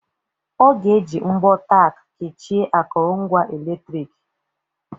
Ọ ga-eji mbọ Tack kechie akụrụngwa eletrik.